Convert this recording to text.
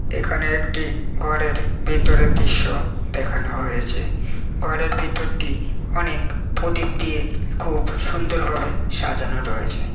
এখানে একটি ঘরের ভেতরের দৃশ্য দেখানো হয়েছে ঘরের ভেতরটি অনেক প্রদ্বীপ দিয়ে খুব সুন্দর ভাবে সাজানো রয়েছে ।